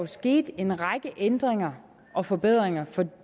skete en række ændringer og forbedringer